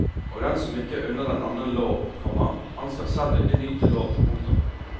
Og den som ikke unner en annen lov, komma han skal selv ikke nyte lov. punktum